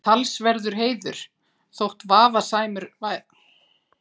Talsverður heiður, þótt vafasamur væri.